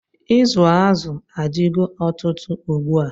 Izu azụ adigo ọtụtụ ugbua.